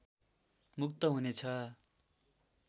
मुक्त हुनेछ